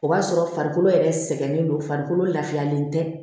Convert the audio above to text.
O b'a sɔrɔ farikolo yɛrɛ sɛgɛnnen don farikolo lafiyalen tɛ